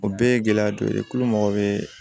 O bɛɛ ye gɛlɛya dɔ ye tulo mago bɛ